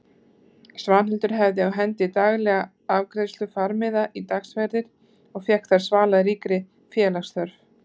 Svanhildur hafði á hendi daglega afgreiðslu farmiða í dagsferðir og fékk þar svalað ríkri félagsþörf.